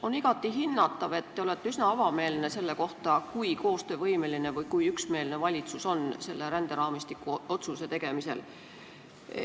On igati hinnatav, et te olete üsna avameelne, rääkides sellest, kui koostöövõimeline või kui üksmeelne on valitsus selle ränderaamistiku otsuse tegemisel.